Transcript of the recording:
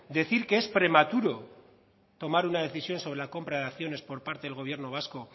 decir que es prematuro tomar una decisión sobre la compra de acciones por parte del gobierno vasco